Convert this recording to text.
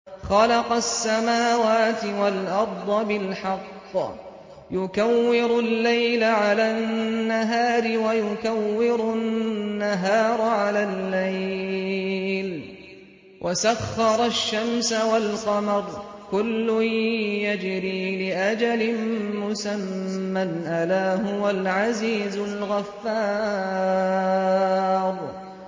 خَلَقَ السَّمَاوَاتِ وَالْأَرْضَ بِالْحَقِّ ۖ يُكَوِّرُ اللَّيْلَ عَلَى النَّهَارِ وَيُكَوِّرُ النَّهَارَ عَلَى اللَّيْلِ ۖ وَسَخَّرَ الشَّمْسَ وَالْقَمَرَ ۖ كُلٌّ يَجْرِي لِأَجَلٍ مُّسَمًّى ۗ أَلَا هُوَ الْعَزِيزُ الْغَفَّارُ